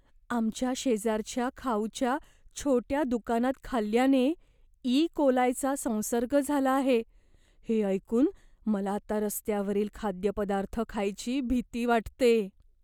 आमच्या शेजाऱ्याला खाऊच्या छोट्या दुकानात खाल्ल्याने इ कोलायचा संसर्ग झाला आहे हे ऐकून मला आता रस्त्यावरील खाद्यपदार्थ खायची भीती वाटते.